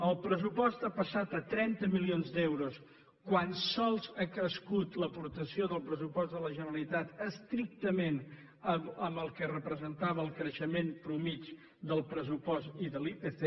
el pressupost ha passat a trenta milions d’euros quan sols ha crescut l’aportació del pressupost de la generalitat estrictament en el que representava el creixement mitjà del pressupost i de l’ipc